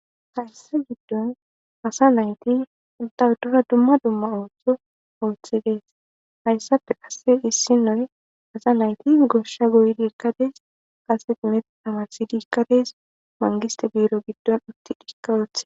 Hayssa giddon asa nayti udawudora dumma dumma ooththo ooththidees hayssafe asse issi noy asa nayti goshsha goydi ikkadees qase dimet tamarsidikkadees mangiste buiro giddon utti dhikka oothe.